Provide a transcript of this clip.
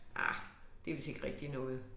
Ah det vist ikke rigtig noget